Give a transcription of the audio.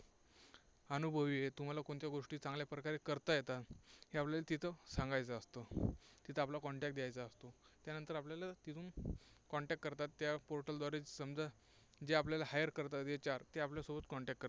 अनुभवी आहे. तुम्हाला कोणत्या गोष्टी चांगल्या प्रकारे करता येतात. हे आपल्याला तिथं सांगायचं असतं. तिथं आपला contact द्यायचा असतो. त्यानंतर आपल्याला तिथून Contact करतात, त्या portal द्वारे समजा जे आपल्याला hire करतात ते HR आपल्यासोबत Contact करतात.